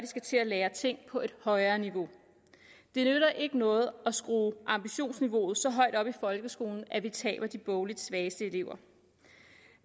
skal til at lære ting på et højere niveau det nytter ikke noget at skrue ambitionsniveauet så højt op i folkeskolen at vi taber de bogligt svageste elever